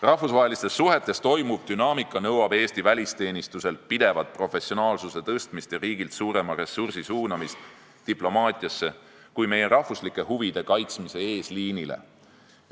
Rahvusvaheliste suhete dünaamika nõuab Eesti välisteenistuselt pidevat professionaalsuse kasvu ja riigilt suurema ressursi suunamist diplomaatiasse kui meie rahvuslike huvide kaitsmise eesliinile.